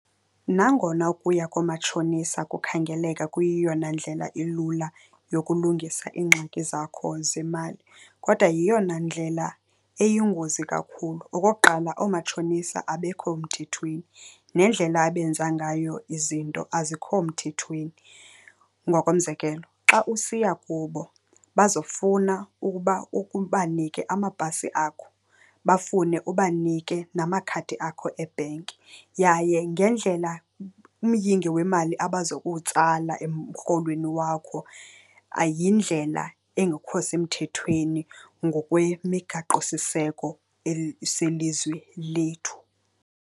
Nangona ukuya koomatshonisa kukhangeleka kuyeyona ndlela ilula yokulungisa iingxaki zakho zemali, kodwa yeyona ndlela eyingozi kakhulu. Okokuqala oomatshonisa abekho mthethweni, nendlela abenza ngayo izinto azikho mthethweni. Ngokomzekelo xa usiya kubo bazofuna ukuba ubanike amapasi akho, bafune ubanike namakhadi akho ebhenki yaye ngendlela umyinge wemali abaza kuwutsala emrholweni wakho, yindlela engekho semthethweni ngokwemigaqosiseko selizwe lethu.